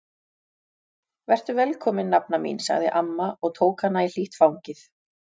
Vertu velkomin nafna mín sagði amma og tók hana í hlýtt fangið.